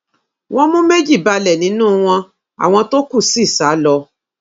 wọn mú méjì balẹ nínú wọn àwọn tó kù sì sá lọ